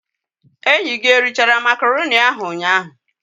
Enyi gi erichara macaroni ahu ụnyaa?